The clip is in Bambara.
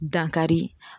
Dankari